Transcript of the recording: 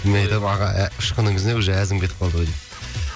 мен айтамын аға ұшқыныңыз не уже әзім кетіп қалды ғой деп